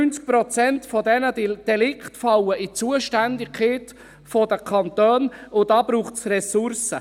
85 Prozent dieser Delikte fallen in die Zuständigkeit des Kantons, und da braucht es Ressourcen.